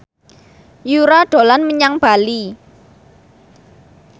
Yura dolan menyang Bali